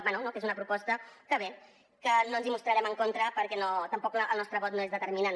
bé que és una proposta que no ens hi mostrarem en contra perquè tampoc el nostre vot no és determinant